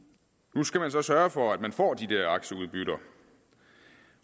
nu skal man så sørge for at man får de der aktieudbytter